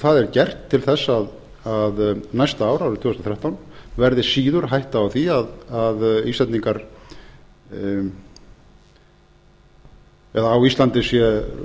það er gert til þess að næsta ár árið tvö þúsund og þrettán verði síður hætta á því að á íslandi